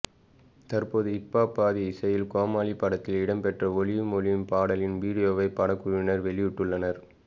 தற்போது hip hop Aadhi இசையில் கோமாளி படத்தில் இடம்பெற்ற ஒளியும் ஒலியும் பாடலின் வீடியோவை படக்குழுவினர் வெளியிட்டுள்ளனர்